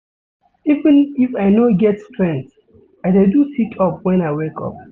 Even if I no get strength, I dey do sit-up wen I wake up.